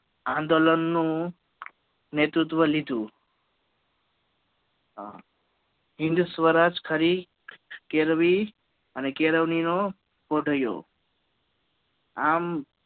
આંદોલન નું નેતૃત્વ લીધુ હિંદ સ્વરાજ કરી કેળવી અને કેળવણી નો ઊભો થયો આમ